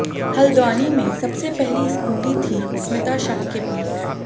हल्द्वानी में सबसे पहली स्कूटी थी स्मिता शाह के पास